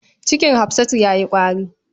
Cikin Hafsatu ya yi ƙwari.